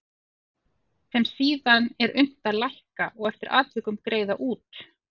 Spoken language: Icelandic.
sem síðan er unnt að lækka og eftir atvikum greiða út.